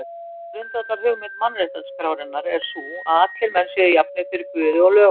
Ein grundvallarhugmynd mannréttindaskrárinnar er sú, að allir menn séu jafnir fyrir Guði og lögunum.